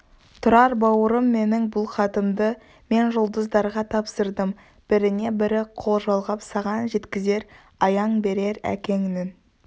тұрар бауырым менің бұл хатымды мен жұлдыздарға тапсырдым біріне-бірі қол жалғап саған жеткізер аян берер әкеңнің